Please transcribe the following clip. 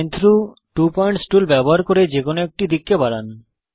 line through two points tool ব্যবহার করে যে কোনো একটি দিককে বাড়ান